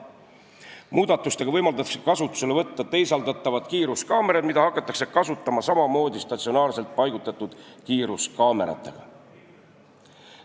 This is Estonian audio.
Muudatusega võimaldatakse kasutusele võtta teisaldatavad kiiruskaamerad, mida hakatakse kasutama samamoodi statsionaarselt paigaldatud kiiruskaameratega.